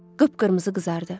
Qıpqırmızı qızardı.